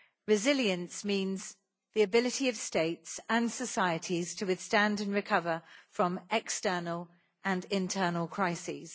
Resilience means the ability of states and societies to withstand and recover from external and internal crises.